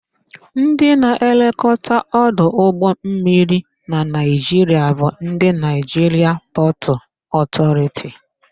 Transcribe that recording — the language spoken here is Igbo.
Ndị na-elekọta ọdụ ụgbọmmiri na Naịjiria bụ ndị Naịjiria Pọtụ Ọtọriti.